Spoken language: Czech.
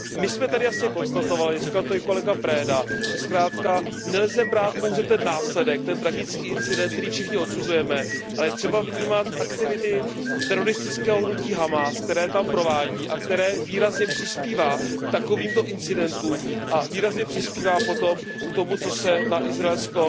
My jsme tady jasně konstatovali, říkal to i kolega Preda, že zkrátka nelze brát pouze ten následek, ten tragický incident, který všichni odsuzujeme, ale je třeba vnímat aktivity teroristického hnutí Hamás, které tam provádí a které výrazně přispívají k takovýmto incidentům a výrazně přispívají potom k tomu, co se na izraelsko